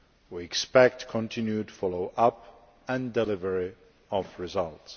We expect continued follow up and delivery of results.